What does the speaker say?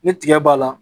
Ni tiga b'a la